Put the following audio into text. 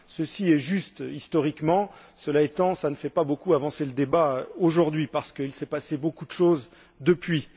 Ceci est l'aspect historique, cela étant, ça ne fait pas beaucoup avancer le débat aujourd'hui, parce qu'il s'est passé beaucoup de choses depuis.